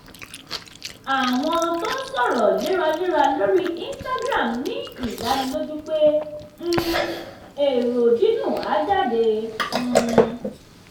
àwọn tó ń sọ̀rọ̀ léraléra lórí instagram ní ìdánilójú pé um èrò dídùn á jáde. um